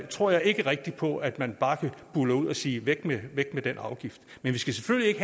tror jeg ikke rigtig på at man bare kan buldre ud og sige væk med den afgift men vi skal selvfølgelig ikke